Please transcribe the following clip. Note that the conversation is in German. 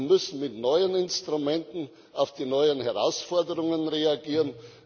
Wir müssen mit neuen Instrumenten auf die neuen Herausforderungen reagieren.